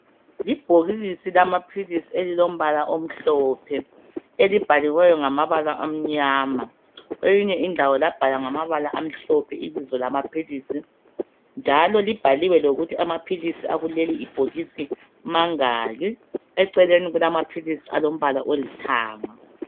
Ibhokisi lamaphilisi elilombala omhlophe elibhaliweyo ngamabala amnyama kweyinye indawo labhalwa ngamabala amhlophe ibizo lamaphilisi njalo libhaliwe lokuthi amaphilisi akuleli bhokisi mangaki, eceleni kulama philisi alombala olithanga.